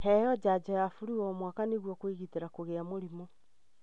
Heo janjo ya flu o mwaka nĩgũo kwĩgitĩra kũgĩa mũrimũ.